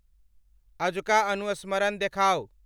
आजुका अनुस्मरण देखाउ